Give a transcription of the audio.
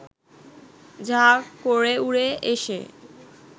ঝাঁ করে উড়ে এসে